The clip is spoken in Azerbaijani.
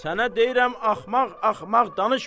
Sənə deyirəm, axmaq-axmaq danışma!